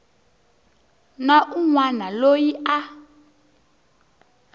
na un wana loyi a